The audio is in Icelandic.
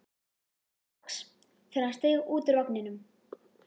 strax þegar hann steig út úr vagninum.